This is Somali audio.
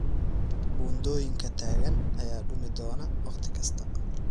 Buundooyinka taagan ayaa dumi doona wakhti kasta.